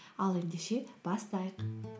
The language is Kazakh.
ал ендеше бастайық